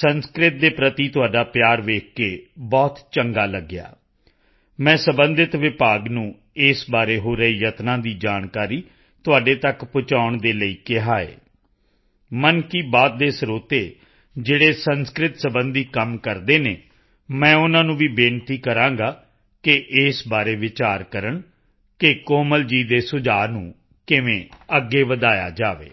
ਸੰਸਕ੍ਰਿਤ ਦੇ ਪ੍ਰਤੀ ਤੁਹਾਡਾ ਪਿਆਰ ਦੇਖ ਕੇ ਬਹੁਤ ਚੰਗਾ ਲੱਗਿਆ ਮੈਂ ਸਬੰਧਿਤ ਵਿਭਾਗ ਨੂੰ ਇਸ ਬਾਰੇ ਹੋ ਰਹੇ ਯਤਨਾਂ ਦੀ ਜਾਣਕਾਰੀ ਤੁਹਾਡੇ ਤੱਕ ਪਹੁੰਚਾਉਣ ਦੇ ਲਈ ਕਿਹਾ ਹੈ ਮਨ ਕੀ ਬਾਤ ਦੇ ਸਰੋਤੇ ਜਿਹੜੇ ਸੰਸਕ੍ਰਿਤ ਸਬੰਧੀ ਕੰਮ ਕਰਦੇ ਹਨ ਮੈਂ ਉਨ੍ਹਾਂ ਨੂੰ ਵੀ ਬੇਨਤੀ ਕਰਾਂਗਾ ਕਿ ਇਸ ਬਾਰੇ ਵਿਚਾਰ ਕਰਨ ਕਿ ਕੋਮਲ ਜੀ ਦੇ ਸੁਝਾਅ ਨੂੰ ਕਿਵੇਂ ਅੱਗੇ ਵਧਾਇਆ ਜਾਵੇ